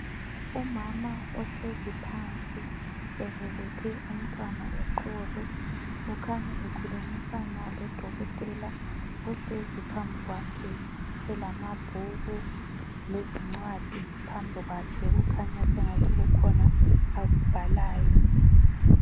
Umama ohlezi phansi ebelethe umntwana eqolo ukhanya ekhulumisana lodokotela ohlezi phambi kwakhe elamabhuku lezincwadi phambi kwakhe, okukhanya sengathi kukhona akubhalayo.